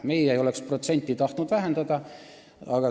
Meie ei oleks tahtnud protsenti vähendada.